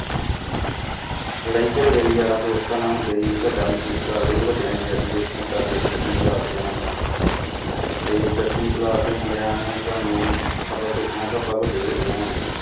ਲੜਾਈ ਝਗੜੇ ਵੀ ਯਾਰਾਂ ਦੋਸਤਾਂ ਨਾਲ ਹੁੰਦੇ ਸੀ ਵੱਡਾ ਮਹਿਸੂਸ ਕਰਦੇ ਸੀ, ਵੱਡਿਆਂ ਨਾਲ ਯਾਰੀ ਦੋਸਤੀ ਕਰਦੇ ਸੀ ਦਸਵੀਂ class ਦਿਆਂ ਨਾਲ ਆਪਾਂ ਤੇ ਦਸਵੀਂ class ਦੇ ਮੁੰਡਿਆਂ ਨੇ ਸਾਨੂੰ ਆਪਾਂ ਸੋਚਣਾ ਕਿ ਆਪਾਂ ਵੱਡੇ ਹੋ ਗਏ ਹਾਂ ਹੁਣ।